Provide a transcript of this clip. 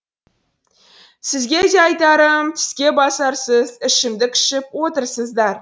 сізге де айтарым тіскебасарсыз ішімдік ішіп отырсыздар